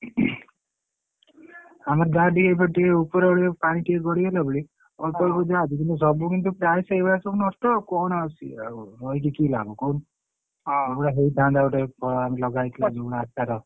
ଆମେ ଯାହା ଟିକେ ଏପଟୁ ଉପର ଆଡୁ ପାଣି ଟିକେ ଗଡିଗଲା ବୋଲି ଅଳ୍ପଅଳ୍ପ ଯାହା ଅଛି କିନ୍ତୁ ସବୁ କିନ୍ତୁ ପ୍ରାୟ ସେଇଭଳିଆ ସବୁ ନଷ୍ଟ ଆଉ କଣ ଆଉ ସିଏ ଆଉ କହିକି କି ଲାଭ କହୁନୁ ପୁରା ହେଇଥାନ୍ତା ଗୋଟେ ଲଗା ହେଇଥିଲା ଯୋଉ ଆଶାର।